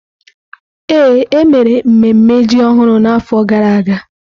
Ee, e mere mmemme ji ọhụrụ n’afọ gara aga.